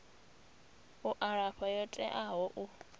u alafha yo teaho u